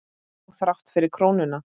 Og þrátt fyrir krónuna?